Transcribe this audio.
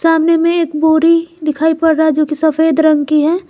सामने में एक बोरी दिखाई पड़ रहा है जो की सफेद रंग की है।